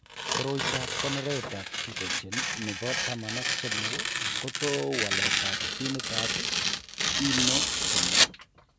Koroitoab konoretab gycogen nebo taman ak somok kotou waletab ginitab ENO3.